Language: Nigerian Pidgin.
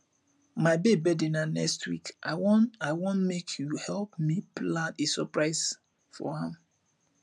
my babe birthday na next week i wan i wan make you help me plan a surprise for am